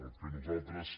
el que nosaltres